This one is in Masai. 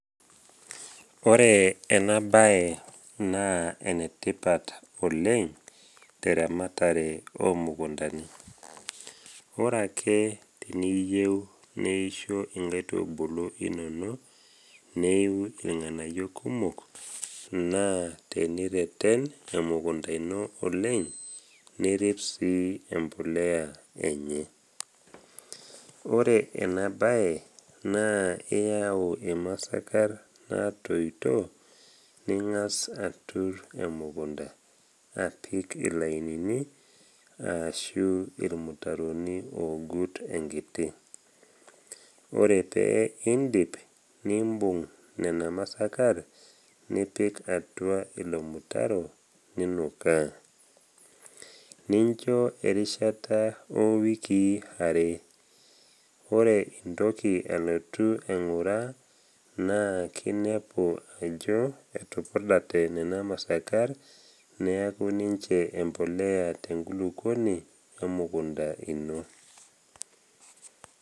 Ore ena bae naa enetipat oleng teramatare omukundani. Ore ake teniyiu neisho inkaitubulu inono neiu ilng’anayio kumok, naa tenireten emukunda ino oleng nirip sii embolea enye. Ore ena bae naa iyau imasakar naatoito, ning’as atur emukunda apik ilainini ashu ilmutaroni ogut enkiti. Ore pee indip, nimbung’ nena masakar, nipik atua ilo mutaro ninukaa. Nincho erishata o wiiki are, ore intoki alotu aing’uraa, naa kinepu ajo etupurdate nena masakar neaku ninche embolea tenkulukuoni emukunda ino.